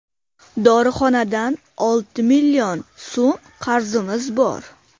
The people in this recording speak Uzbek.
Dorixonadan olti million so‘m qarzimiz bor.